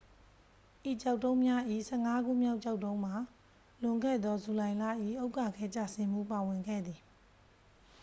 ဤကျောက်တုံးများ၏ ဆယ့်ငါးခုမြောက် ကျောက်တုံးမှာ လွန်ခဲ့သော ဇူလိုင်လ၏ ဥက္ကာခဲကျဆင်းမှု ပါဝင်ခဲ့သည်